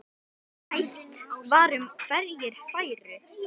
Rætt var um hverjir færu.